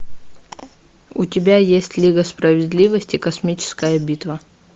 у тебя есть лига справедливости космическая битва